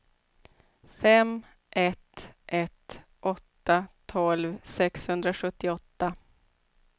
fem ett ett åtta tolv sexhundrasjuttioåtta